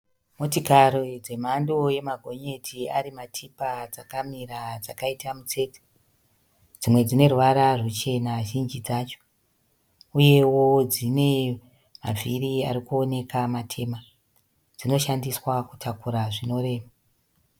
Motikari dzemhando yemagonyeti ari matipa dzakamira dzakaita mitsetse. Dzimwe dzine ruvara ruchena zhinji dzacho uyewo dzine mavhiri arikoneka matema. Dzinoshandiswa kutakura zvinorema.